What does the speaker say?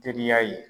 Teriya ye